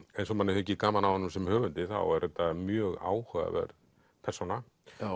eins og manni þykir gaman af honum sem höfundi þá er þetta mjög áhugaverð persóna